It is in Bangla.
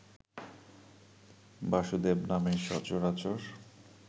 বাসুদেব নামে সচরাচর